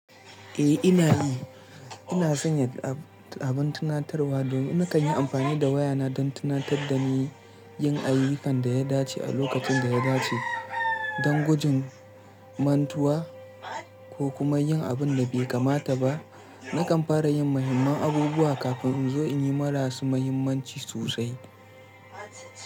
Eh ina yi. Ina sanya abun tunatarwa domin na kan yi amfani da wayana don tunatar da ni yin ayyukan da ya dace a lokacin da ya dace don gujin mantuwa ko kuma yin abin da bai kamata ba. Na kan fara yin muhimman abubuwa kafin in zo in yi marasu mahimmanci sosai.